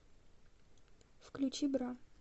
включи бра